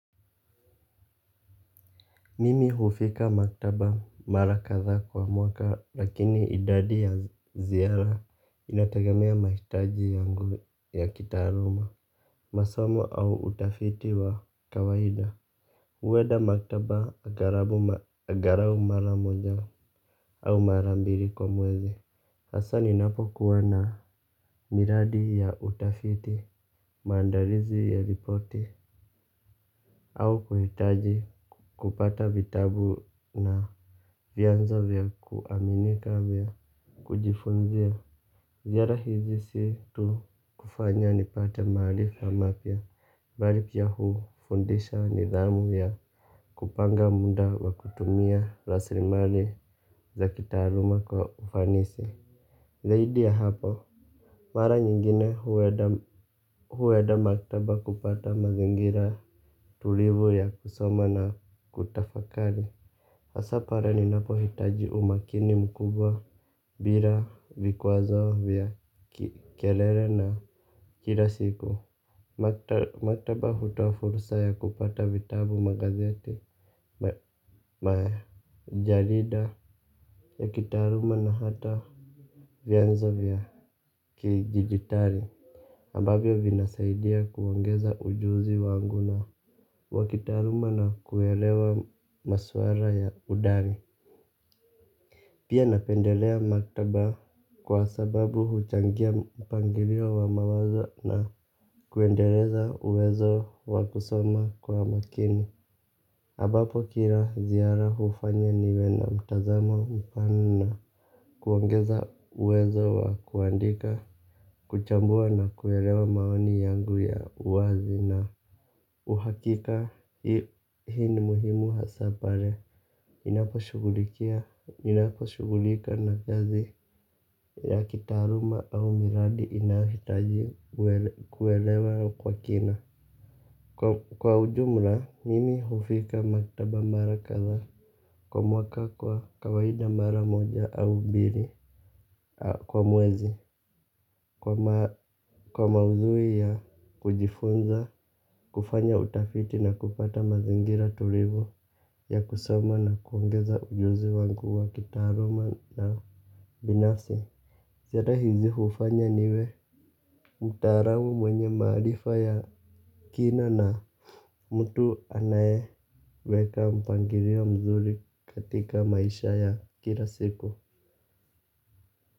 Mimi hufika maktaba mara kadhaa kwa mwaka lakini idadi ya ziara inategemea mahitaji yangu ya kitaaruma. Masomo au utafiti wa kawaida. Huenda maktaba agharabu agarau mara moja au mara mbili kwa mwezi hasa ninapo kuwa na miradi ya utafiti maandalizi ya ripoti. Au kuhitaji kupata vitabu na vyanzo vya kuaminika vya kujifunzia. Ziara hizi si tu kufanya nipate maarifa mapya bali pia hufundisha nidhamu ya kupanga muda wa kutumia raslimali za kitaaruma kwa ufanisi. Zaidi ya hapo mara nyingine hueda maktaba kupata mazingira tulivu ya kusoma na kutafakali. Hasa pare ninapohitaji umakini mkubwa bira vikwazo vya kelele na kila siku. Maktaba hutoa fursa ya kupata vitabu magazeti. Majalida ya kitaaruma na hata vyanzo vya kidijitari ambavyo vinasaidia kuongeza ujuzi wangu na wa kitaaruma na kuelewa maswara ya udani. Pia napendelea maktaba kwa sababu huchangia mpangirio wa mawazo na kuendeleza uwezo wa kusoma kwa makini ambapo kira ziara hufanya niwe na mtazamo mpana na kuongeza uwezo wa kuandika kuchambua na kuelewa maoni yangu ya uwazi na uhakika hii ni muhimu hasa pare ninaposhughulika na kazi ya kitaaruma au miradi inahitaji kuelewa kwa kina. Kwa ujumla, mimi hufika maktaba mara kadhaa kwa mwaka kwa kawaida mara moja au mbiri kwa mwezi. Kwa maudhui ya kujifunza, kufanya utafiti na kupata mazingira tulivu ya kusoma na kuongeza ujuzi wangu wa kitaaruma na binafsi. Zera hizi hufanya niwe mtaaramu mwenye maarifa ya kina na mtu anayeweka mpangirio mzuri katika maisha ya kila siku.